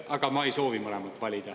Aga ma ei soovi mõlemat valida.